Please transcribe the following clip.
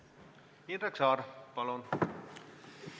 Indrek Saar, palun!